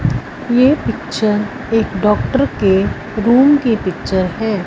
ये picture doctor के room की पिक्चर है।